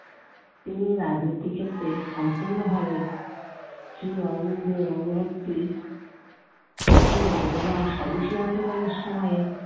তিনি রাজনীতির ক্ষেত্রে সম্পূর্ণভাবে শ্রী অরবিন্দ অনুবর্তী ছিলেন এবং স্বদেশী আন্দোলনের সময়ে